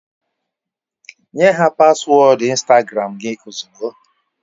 Nye ha paswọọdụ Instagram gị ozugbo!